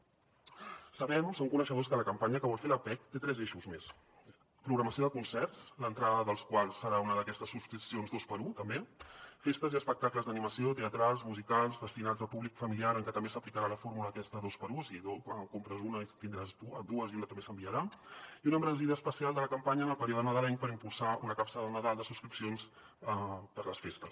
sabem som coneixedors que la campanya que vol fer l’appec té tres eixos més programació de concerts l’entrada dels quals serà una d’aquestes subscripcions 2x1 també festes i espectacles d’animació teatrals musicals destinats a públic familiar en què també s’aplicarà la fórmula aquesta 2x1 o sigui en compres una i en tindràs dues i una també s’enviarà i una embranzida especial de la campanya en el període nadalenc per impulsar una capsa de nadal de subscripcions per les festes